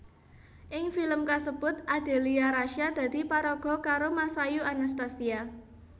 Ing filem kasebut Adelia Rasya dadi paraga karo Masayu Anastasia